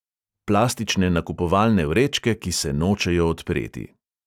Plastične nakupovalne vrečke, ki se nočejo odpreti.